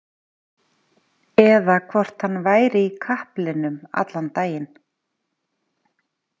Eða hvort hann væri í kaplinum allan daginn.